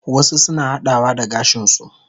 Wasu suna hadawa da gashin su